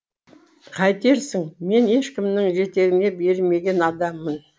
қайтерсің мен ешкімнің жетегіне бермеген адаммын